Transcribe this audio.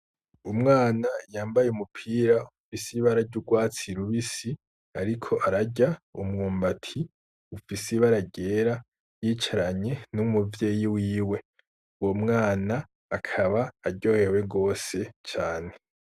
Umwana yambaye umupira ufise ibara ry’urwatsi rubisi ariko arya umwumbati ufise ibara ryera yicaranye n'umuvyeyi wiwe. Uwo mwana akaba aryoherwe gose cane.